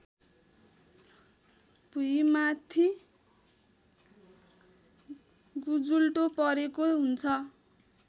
भुइँमाथि गुजुल्टो परेको हुन्छ